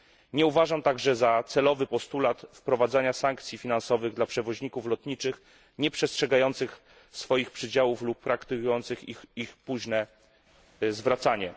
Nie uważam także za celowy postulatu wprowadzania sankcji finansowych dla przewoźników lotniczych nieprzestrzegających swoich przydziałów lub praktykujących ich późne zwracanie.